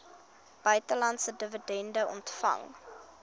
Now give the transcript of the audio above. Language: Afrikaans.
buitelandse dividende ontvang